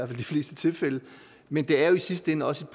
fleste tilfælde men det er jo i sidste ende også